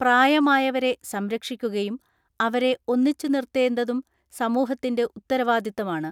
പ്രായമായവരെ സംരക്ഷിക്കുകയും അവരെ ഒന്നിച്ചു നിർത്തേണ്ടതും സമൂഹത്തിന്റെ ഉത്തരവാദിത്തമാണ്.